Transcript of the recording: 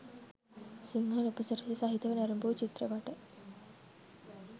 සිංහල උපසිරැසි සහිතව නැරඹූ චිත්‍රපට